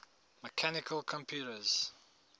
mechanical computers